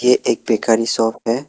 ये एक bakery shop है।